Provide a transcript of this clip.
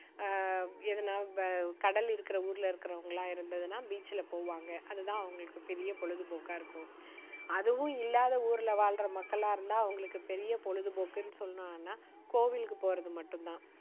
ஆஹ் எதுனா வ~கடல் இருக்கிற ஊர்ல இருக்கிறவங்களா இருந்துதுன்னா, beach ல போவாங்க. அதுதான் அவங்களுக்கு பெரிய பொழுதுபோக்கா இருக்கும். அதுவும் இல்லாத ஊருல வாழுற மக்களா இருந்தா, அவங்களுக்கு பெரிய பொழுதுபோக்குன்னு சொன்னோம்னா, கோவிலுக்கு போறது மட்டும் தான்.